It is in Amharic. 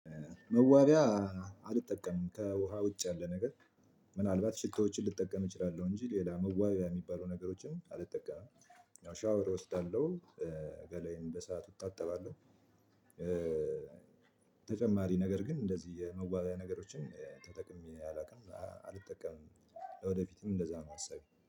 መዋቢያ አልጠቀምም ከውሃ ውጭ ያለ ነገር ምናልባት ሽቶዎችን ልጠቀም እችላለሁ እንጂ ሌላ መዋቢያ ሚባሉ ነገሮችን አልጠቃም። ያው ሻወር እወስዳለሁ ገሌን በሰአቱ እታጠባለው። ተጨማሪ ነገር ግን እንደዚህ የመዋቢያ ነገሮችን ተጠቅሜ አላውቅም አልጠቀምም ወደፊትም እንደዛ ነው አሳቤ